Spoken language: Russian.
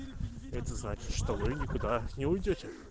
это значит что вы никуда не уйдёте